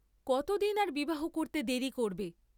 কতদিন আর বিবাহ করতে দেরি করবে?